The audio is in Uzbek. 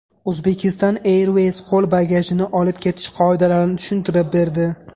Uzbekistan Airways qo‘l bagajini olib ketish qoidalarini tushuntirib berdi.